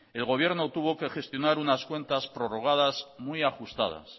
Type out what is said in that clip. el gobierno tuvo que gestionar unas cuentas prorrogadas muy ajustadas